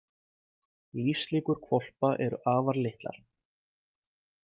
Lífslíkur hvolpa eru afar litlar.